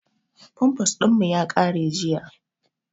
Famfas ɗin mu ya ƙare jiya